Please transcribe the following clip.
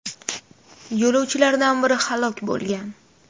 Yo‘lovchilardan biri halok bo‘lgan.